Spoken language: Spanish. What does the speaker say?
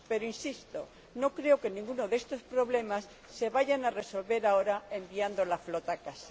Pero —insisto— no creo que ninguno de estos problemas se vaya a resolver ahora enviando la flota a casa.